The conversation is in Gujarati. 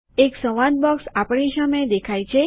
એક સંવાદ બોક્સ આપણી સામે દેખાય છે